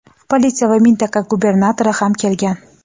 politsiya va mintaqa gubernatori ham kelgan.